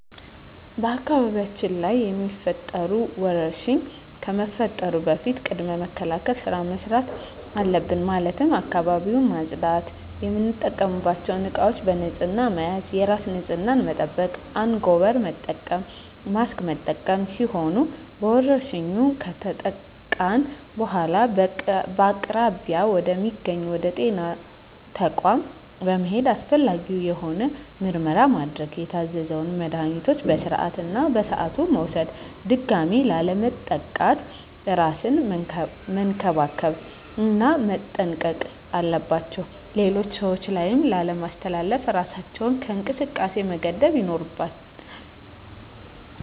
በአካባቢያችን ላይ የሚፈጠሩ ወረርሽኝ ከመፈጠሩ በፊት ቅድመ መከላከል ስራ መስራት አለብን ማለትም አካባቢውን ማፅዳት፣ የምንጠቀምባቸው እቃዎች በንህፅና መያዝ፣ የራስን ንፅህና መጠበቅ፣ አንጎበር መጠቀም፣ ማስክ መጠቀም ሲሆኑ በወረርሽኙ ከተጠቃን በኃላ በአቅራቢያ ወደ ሚገኝ ወደ ጤና ተቋም በመሔድ አስፈላጊውን የሆነ ምርመራ ማድረግ የታዘዘውን መድሀኒቶች በስርዓቱ እና በሰዓቱ መውሰድ ድጋሚ ላለመጠቃት እራስን መንከባከብ እና መጠንቀቅ አለባቸው ሌሎች ሰዎች ላይ ላለማስተላለፍ እራሳችንን ከእንቅስቃሴ መገደብ ይኖርብናል።